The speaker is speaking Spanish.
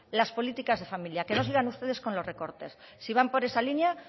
las políticas de familias que no sigan ustedes con los recortes si van por esa línea